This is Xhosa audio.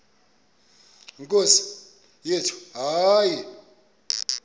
nkosi yethu hayi